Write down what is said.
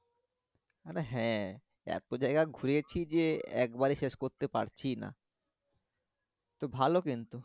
আরে হ্যাঁ এত জায়গা ঘুরেছি যে একবারে শেষ করতে পারছি ই না তো ভালো কিন্তু।